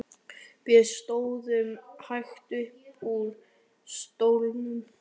Við stóðum hægt upp úr stólunum.